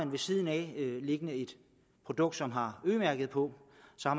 ved siden af et produkt som har ø mærket på